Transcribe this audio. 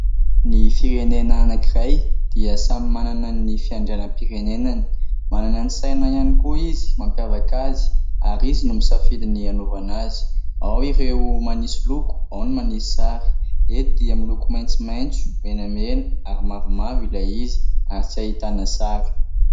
Ny firenena anankiray dia samy manana ny fiandrianam-pirenenany. Manana ny saina ihany koa izy mampiavaka azy ary izy no misafidy ny anaovana azy. Ao ireo manisy loko, ao ny manisy sary. Eto dia miy loko maintsomaintso, menamena ary mavomavo ilay izy ary tsy ahitana sary.